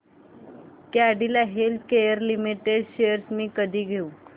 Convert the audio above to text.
Cadila healthcare limited shares मी कधी घेऊ